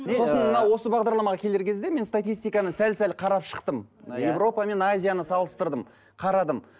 сосын мына осы бағдарламаға келер кезде мен статистиканы сәл сәл қарап шықтым мына европа мен азияны салыстырдым қарадым